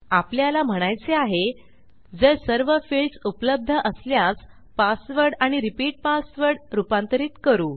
आपल्याला म्हणायचे आहे जर सर्व फिल्डस उपलब्ध असल्यास पासवर्ड आणि रिपीट पासवर्ड रूपांतरित करू